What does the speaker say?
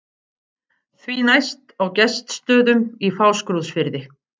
Því næst á Gestsstöðum í Fáskrúðsfirði.